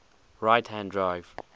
right hand drive